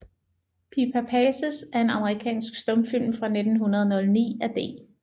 Pippa Passes er en amerikansk stumfilm fra 1909 af D